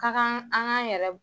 Ka kan an k'a n yɛrɛ